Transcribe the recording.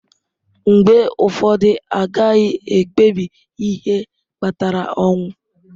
Mgbe ụfọdụ, a gaghị ekpebi ihe kpatara ọnwụ.